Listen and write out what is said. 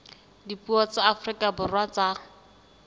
dipuo tsa afrika borwa tsa